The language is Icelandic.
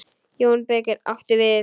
JÓN BEYKIR: Áttu við.